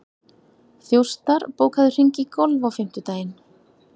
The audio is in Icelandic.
Þjóstar, bókaðu hring í golf á fimmtudaginn.